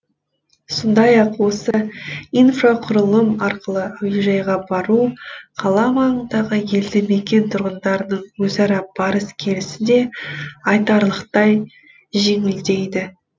сондай ақ осы инфрақұрылым арқылы әуежайға бару қала маңындағы елді мекен тұрғындарының өзара барыс келісі де айтарлықтай жеңілдейді